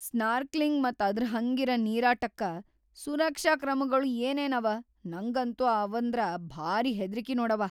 Snorkelling ಮತ್‌ ಅದ್ರಹಂಗಿರ ನೀರಾಟಕ್ಕ ಸುರಕ್ಷಾ ಕ್ರಮಗೊಳ್ ಏನೇನವ? ನಂಗಂತೂ ಅವಂದ್ರ ಭಾರೀ ಹೆದ್ರಿಕಿ ನೋಡವಾ.